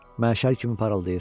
Məşəl kimi parıldayır.